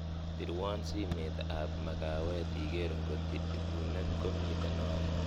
pirwon simeet ab magawet igeer ng'ot ibunet ko miten oreet